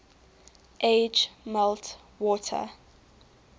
age melt water